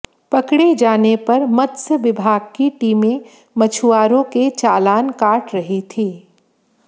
पकड़े जाने पर मत्स्य विभाग की टीमें मछुआरों के चालान काट रही थी